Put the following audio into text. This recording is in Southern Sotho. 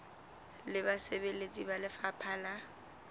le basebeletsi ba lefapha la